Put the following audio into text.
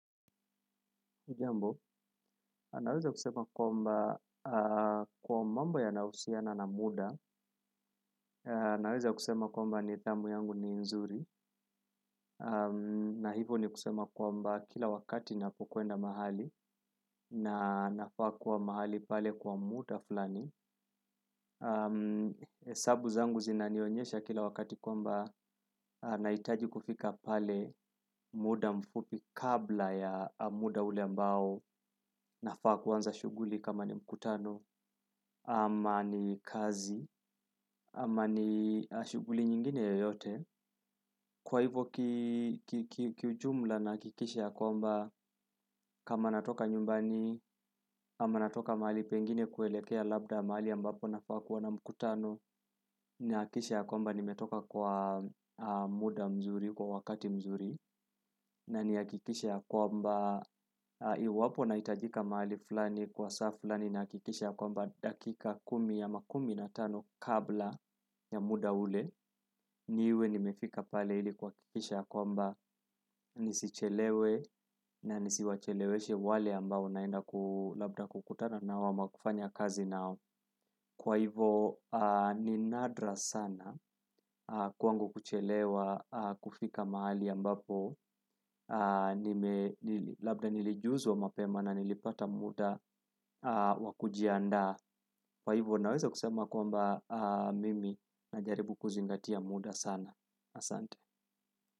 Hujambo, naweza kusema kwamba kwa mambo yanahusiana na muda, naweza kusema kwamba nidhamu yangu ni nzuri, na hivo ni kusema kwamba kila wakati napokwenda mahali, na nafaa kuwa mahali pale kwa muda fulani. Sabu zangu zina nionyesha kila wakati kwamba, nahitaji kufika pale muda mfupi kabla ya muda ule ambao, nafaa kuanza shuguli kama ni mkutano, ama ni kazi ama ni shuguli nyingine yoyote. Kwa hivo, kiujumla nahakikisha ya kwamba, kama natoka nyumbani ama natoka mahali pengine kuelekea labda mahali ambapo nafaa kuwa na mkutano, nihakikishe ya kwamba nimetoka kwa muda mzuri kwa wakati mzuri. Na nihakikishe ya kwamba, iwapo nahitajika mahali fulani kwa saa fulani nahakikisha ya kwamba dakika kumi ama kumi na tano kabla ya muda ule, niwe nimefika pale ili kuhakikisha ya kwamba, nisichelewe na nisiwacheleweshe wale ambao naenda labda kukutana nao ama kufanya kazi nao. Kwa hivo, ni nadra sana kwangu kuchelewa kufika mahali ambapo, labda nilijuzwa mapema na nilipata muda wa kujiandaa. Kwa hivyo naweza kusema kwamba mimi najaribu kuzingatia muda sana. Asante.